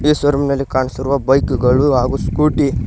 ಈ showroom ನಲ್ಲಿ ಕಾಣುಸಿರುವ ಬೈಕುಗಳು ಹಾಗು ಸ್ಕೂಟಿ --